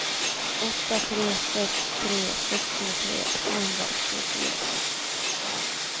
åtta tre sex tre sextiotre tvåhundraåttiofyra